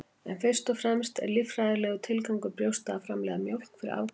en fyrst og fremst er líffræðilegur tilgangur brjósta að framleiða mjólk fyrir afkvæmi